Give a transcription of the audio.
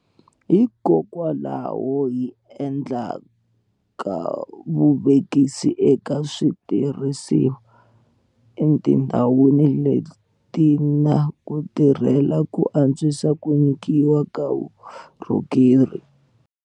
Hikokwalaho hi endlaka vuvekisi eka switirhisiwa etindhawini leti na ku tirhela ku antswisa ku nyikiwa ka vukorhokeri.